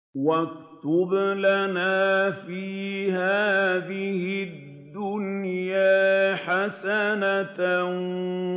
۞ وَاكْتُبْ لَنَا فِي هَٰذِهِ الدُّنْيَا حَسَنَةً